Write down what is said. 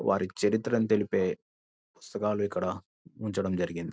వారి చరిత్రని తెలిపే పుస్తకాలు ఇక్కడ ఉంచడం జరిగింది.